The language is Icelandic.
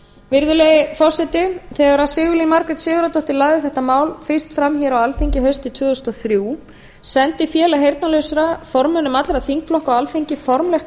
virðulegi forseti þegar sigurlín margrét sigurðardóttir lagði þetta mál fyrst fram hér á alþingi haustið tvö þúsund og þrjú sendi félag heyrnarlausra formönnum allra þingflokka á alþingi formlegt